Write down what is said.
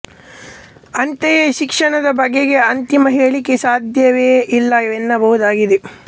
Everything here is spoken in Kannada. ಅಂತೆಯೇ ಶಿಕ್ಷಣದ ಬಗೆಗೆ ಅಂತಿಮ ಹೇಳಿಕೆ ಸಾಧ್ಯವೆ ಇಲ್ಲ ವೆನ್ನಬಹುದಾಗಿದೆ